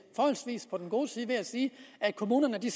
forholdsvis på den gode side ved at sige at kommunerne i